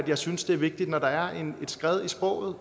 jeg synes det er vigtigt når der er et skred i sproget